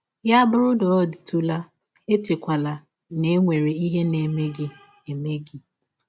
Ya bụrụ na ọ dịtụla, echekwala na e nwere ihe na - eme gị eme gị.